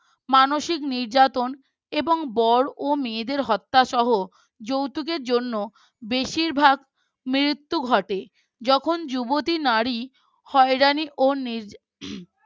মানসিক নির্যাতন এবং বর ও মেয়েদের হত্যা সহ যৌতুকের জন্য বেশিরভাগ মৃত্যু ঘটে, যখন যুবতী নারী হয়রানি ও